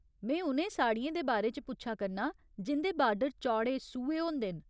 में उ'नें साड़ियें दे बारे च पुच्छा करनां जिं'दे बार्डर चौड़े सूहे होंदे न।